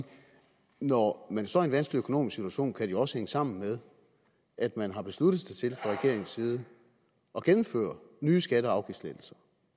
når man står i en vanskelig økonomisk situation kan det jo også hænge sammen med at man har besluttet sig til fra regeringens side at gennemføre nye skatte og afgiftslettelser